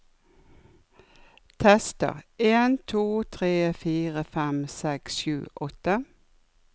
Tester en to tre fire fem seks sju åtte